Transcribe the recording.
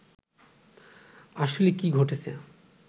আসলে কি ঘটেছে